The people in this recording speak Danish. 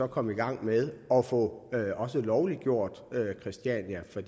komme i gang med at få lovliggjort christiania for